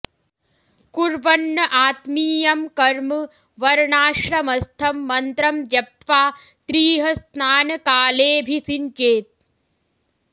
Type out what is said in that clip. कुर्वन्न् आत्मीयं कर्म वर्णाश्रमस्थं मन्त्रं जप्त्वा त्रिः स्नानकालेऽभिषिञ्चेत्